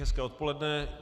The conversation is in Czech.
Hezké odpoledne.